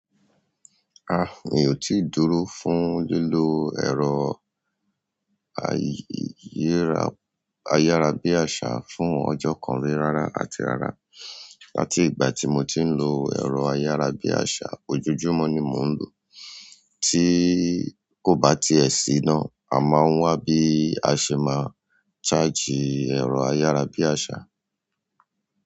Ah, mi ò tì dúró fún lílo ẹ̀rọ ayárabíàṣá fún ọjọ́ kan rí rárá àti rárá. Àti ìgbà tí mo ti ń lo ẹ̀rọ ayárabíàṣá, ojújúmọ́ ni mò ń lò ó. Tí kò bá ti ẹ̀ sí iná, a máa ń wà bí a ṣe máa charge ẹ̀rọ ayárabíàṣá.